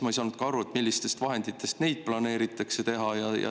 Ma ei saanudki aru, millistest vahenditest neid planeeritakse teha.